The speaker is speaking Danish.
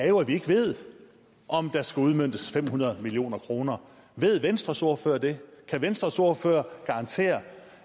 jo ikke ved om der skal udmøntes fem hundrede million kroner ved venstres ordfører det kan venstres ordfører garantere